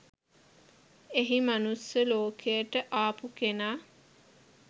එහි මනුස්ස ලෝකයට ආපු කෙනා